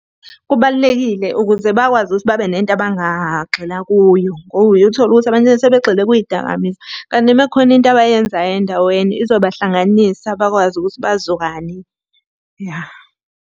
Kubalulekile ukuze bakwazi ukuthi babe nento abangagxila kuyo, ngoba uye uthole ukuthi abanye sebegxile kuy'dakamizwa. Kanti uma kukhona into abayenzayo endaweni izobahlanganisa bakwazi ukuthi bazwane ya.